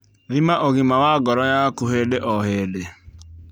Thima ũgima wa ngoro yaku hĩndĩ o hĩndĩ